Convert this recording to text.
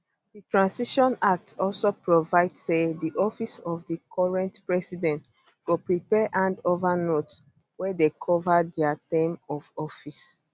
di transition act also provide say di office of di current president go prepare hand over notes wey dey cover dia term of office um